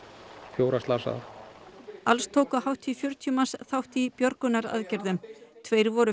fjóra slasaða alls tóku hátt í fjörutíu manns þátt í björgunaraðgerðum tveir voru